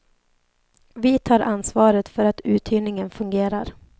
Vi tar ansvaret för att uthyrningen fungerar.